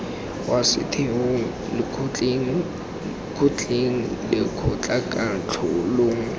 kwa setheong lekgotleng kgotleng lekgotlakatlholong